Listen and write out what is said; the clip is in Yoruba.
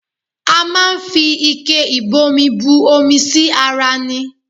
A máa ń fi ike ìbomi bù omi sí ara ní